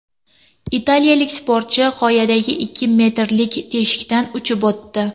Italiyalik sportchi qoyadagi ikki metrlik teshikdan uchib o‘tdi .